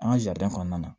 An ka kɔnɔna na